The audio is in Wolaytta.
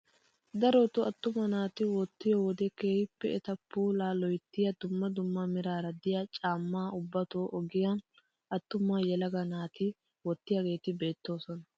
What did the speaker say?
Darotoo attuma naati wottiyoo wode keehippe eta puulaa loyttiyaa dumma dumma meraara de'iyaa caammaa ubbatoo ogiyaa attuma yelaga naati wottaageti beetoosona.